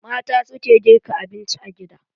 Mata suke girka abinci a gida.